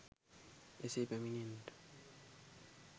එසේ පැමිණෙන්නට